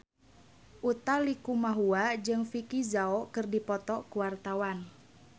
Utha Likumahua jeung Vicki Zao keur dipoto ku wartawan